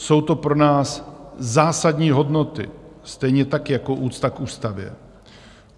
Jsou to pro nás zásadní hodnoty, stejně tak jako úcta k ústavě.